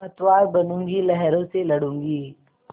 पतवार बनूँगी लहरों से लडूँगी